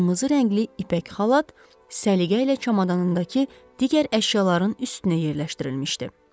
Qırmızı rəngli ipək xalat səliqə ilə çamadanındakı digər əşyaların üstünə yerləşdirilmişdi.